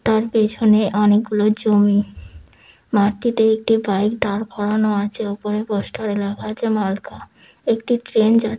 তার পিছনে অনেক গুলো জমি মাঠটিতে একটি বাইক দাঁড় করানো আছে উপরে পোস্টারে লেখা আছে মালকা। একটি ট্রেন যা --